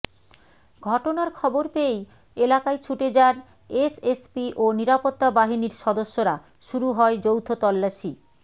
ঘটনার খবর পেয়েই এলাকায় ছুটে যান এসএসপি ও নিরাপত্তাবাহিনীর সদস্যরা শুরু হয় যৌথ তল্লাশি